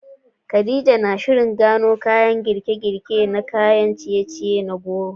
Khadija na shirin gano sabbin girke-girke na kayan ciye-ciye na goro